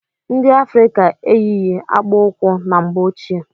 Ndị Afrịka eyighi akpukwu na mgbe ọchịe.